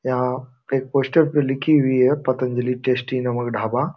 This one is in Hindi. यहाँ पे पोस्टर पे लिखी हुई है पतंजलि टेस्टी नमक ढाबा।